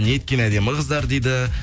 неткен әдемі қыздар дейді